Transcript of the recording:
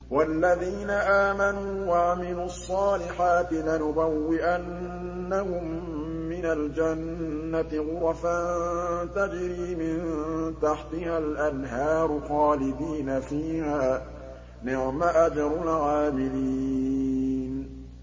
وَالَّذِينَ آمَنُوا وَعَمِلُوا الصَّالِحَاتِ لَنُبَوِّئَنَّهُم مِّنَ الْجَنَّةِ غُرَفًا تَجْرِي مِن تَحْتِهَا الْأَنْهَارُ خَالِدِينَ فِيهَا ۚ نِعْمَ أَجْرُ الْعَامِلِينَ